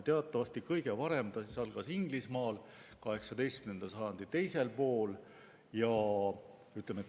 Teatavasti, kõige varem algas see Inglismaal, 18. sajandi teisel poolel.